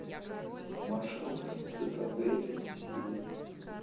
маршрут цитадель силы